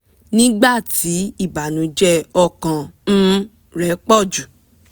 nígbà tí ìbànújẹ ọkàn um rẹ pọ̀ jù